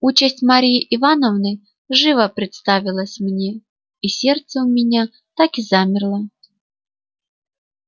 участь марьи ивановны живо представилась мне и сердце у меня так и замерло